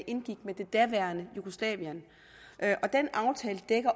indgik med det daværende jugoslavien